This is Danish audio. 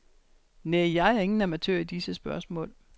Næh, jeg er ingen amatør i disse spørgsmål.